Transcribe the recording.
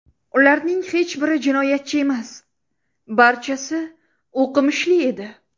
Ularning hech biri jinoyatchi emas, barchasi o‘qimishli edi.